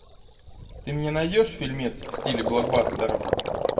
ты мне найдешь фильмец в стиле блокбастера